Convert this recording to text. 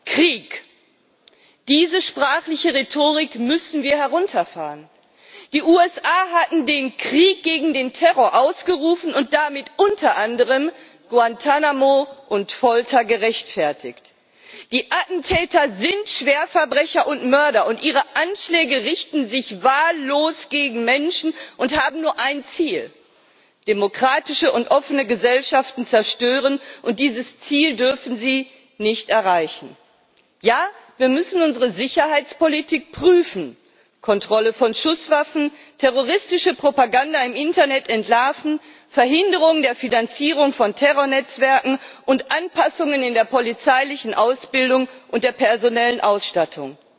Herr Präsident! In die Trauer um die Opfer von Paris mischte sich schnell ein Wort Krieg. Diese sprachliche Rhetorik müssen wir herunterfahren! Die USA hatten den Krieg gegen den Terror ausgerufen und damit unter anderem Guantánamo und Folter gerechtfertigt. Die Attentäter sind Schwerverbrecher und Mörder, und ihre Anschläge richten sich wahllos gegen Menschen und haben nur ein Ziel demokratische und offene Gesellschaften zu zerstören. Dieses Ziel dürfen sie nicht erreichen! Ja, wir müssen unsere Sicherheitspolitik prüfen Kontrolle von Schusswaffen, terroristische Propaganda im Internet entlarven, Verhinderung der Finanzierung von Terrornetzwerken und Anpassungen in der polizeilichen Ausbildung und der personellen Ausstattung.